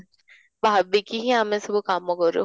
ଭାବିକି ହିଁ ଆମେ ସବୁ କାମ କରୁ